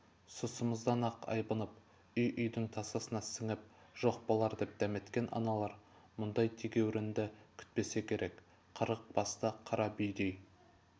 сұсымыздан-ақ айбынып үй-үйдің тасасына сіңіп жоқ болар деп дәметкен аналар мұндай тегеурінді күтпесе керек қырық басты қара бүйдей